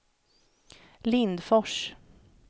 Lindfors